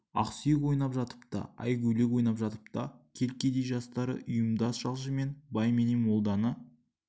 ақсүйек ойнап жатып та айгөлек ойнап жатып та кел кедей жастары ұйымдас жалшымен бай менен молданы